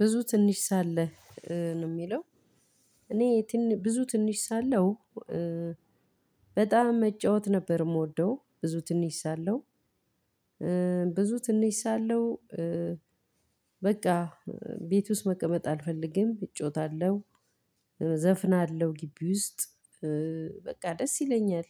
ብዙ ትንሽ ሳለ ነው የሚለው እኔ ብዙ ትንሽ ሳለው። በጣም መጫወት ነበር የምወደው ብዙ ትንሽ ሳለው። ብዙ ትንሽ ሳለው። በቃ ቤት ውስጥ መቀመጥ አልፈልግም እጫወታለሁ። ዘፍናለሁ ግቢ ውስጥ። በቃ ደስ ይለኛል።